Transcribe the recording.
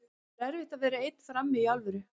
Það er erfitt að vera einn frammi, í alvöru.